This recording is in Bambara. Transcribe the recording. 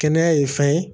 Kɛnɛya ye fɛn ye